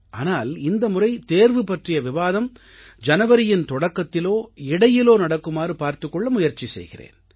ஆனால் இந்த முறை தேர்வு பற்றிய விவாதம் ஜனவரியின் தொடக்கத்திலோ இடையிலோ நடக்குமாறு பார்த்துக் கொள்ள முயற்சி செய்கிறேன்